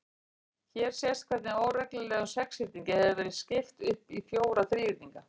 Hér sést hvernig óreglulegum sexhyrningi hefur verið skipt upp í fjóra þríhyrninga.